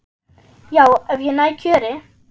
Já, ef ég næ kjöri.